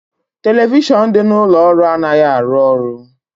Televishion dị n'ụlọ ọrụ anaghị arụ ọrụ